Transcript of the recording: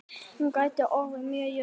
Hún gæti orðið mjög jöfn.